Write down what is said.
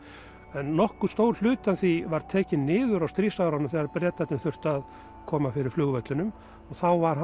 en nokkur stór hluti af því var tekinn niður á stríðsárunum þegar Bretarnir þurftu að koma fyrir flugvellinum og þá var